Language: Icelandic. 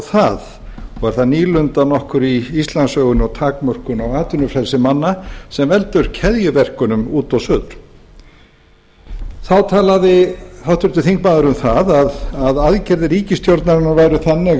það og er það nýlunda nokkur í íslandssögunni og takmörkun á atvinnufrelsi manna sem veldur keðjuverkunum út og suður þá talaði háttvirtur þingmaður um það að aðgerðir ríkisstjórnarinnar væru þannig